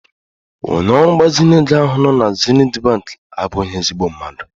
Onye ọrụ mgbazinye ego ahụ nọ na Zenith bank abụghị ezigbo mmadụ.